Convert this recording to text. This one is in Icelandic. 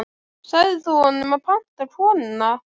Sagðir þú honum að panta konuna?